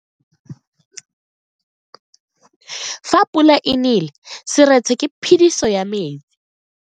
Fa pula e nele seretse ke phediso ya metsi.